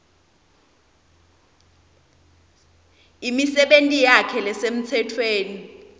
imisebenti yakhe lesemtsetfweni